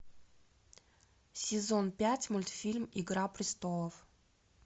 сезон пять мультфильм игра престолов